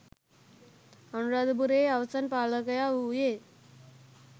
අනුරාධපුරයේ අවසන් පාලකයා වූයේ